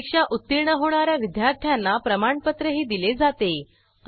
परीक्षा उत्तीर्ण होणा या विद्यार्थ्यांना प्रमाणपत्रही दिले जाते